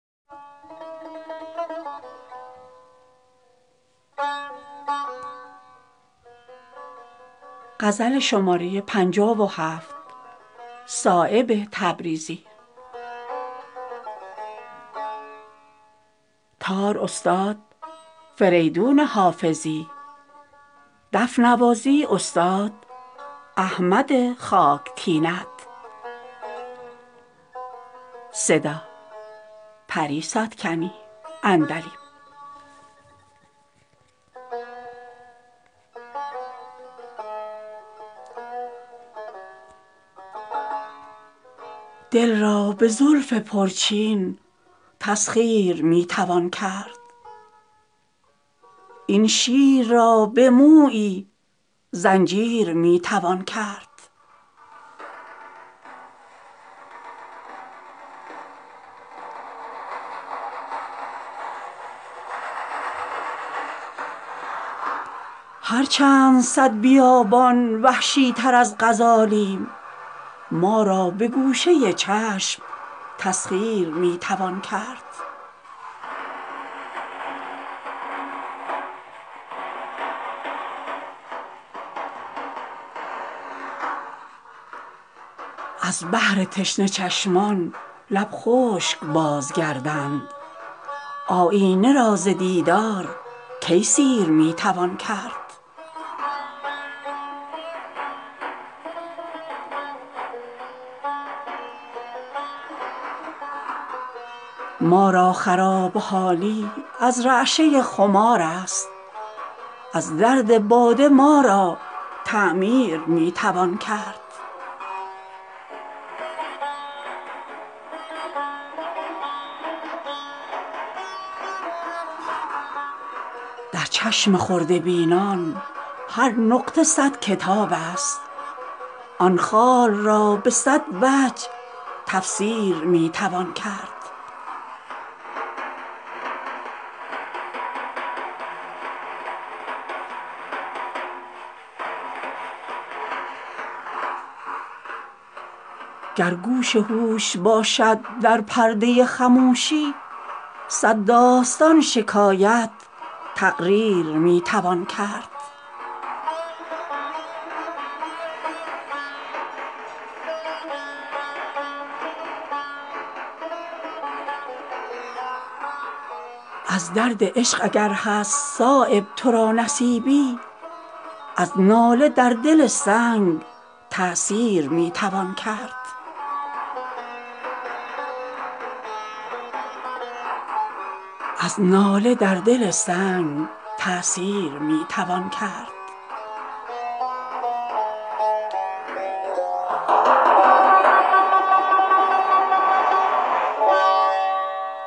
دل را به زلف پرچین تسخیر می توان کرد این شیر را به مویی زنجیر می توان کرد خط نرسته پیداست از چهره نکویان مو را چگونه پنهان در شیر می توان کرد هر چند صد بیابان وحشی تر از غزالیم ما را به گوشه چشم تسخیر می توان کرد از بحر تشنه چشمان لب خشک بازگردند آیینه را ز دیدار کی سیر می توان کرد ما را خراب حالی از رعشه خمارست از درد باده ما را تعمیر می توان کرد در چشم خرده بینان هر نقطه صد کتاب است آن خال را به صد وجه تفسیر می توان کرد در بوته ریاضت یک چند اگر گذاری قلب وجود خودرا اکسیر می توان کرد گر گوش هوش باشد در پرده خموشی صد داستان شکایت تقریر می توان کرد فریاد کاهل دولت از نخوتند غافل کز خلق خوش چه دلها تسخیر می توان کرد بی منصبی ز تغییر ایمن بود وگرنه هر منصب دگر هست تغییر می توان کرد اوضاع خوش خیالان سامان پذیر گردد گر خواب شاعران را تعبیر می توان کرد از درد عشق اگر هست صایب ترا نصیبی از ناله در دل سنگ تأثیر می توان کرد